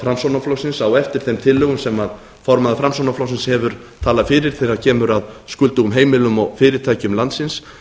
framsóknarflokksins á eftir þeim tillögum sem formaður framsóknarflokksins hefur talað fyrir þegar kemur að skuldugum heimilum og fyrirtækjum landsins